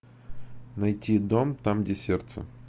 найти дом там где сердце